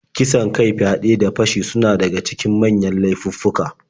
Kisan kai, fyaɗe, da fashi suna daga cikin manyan laifuffuka.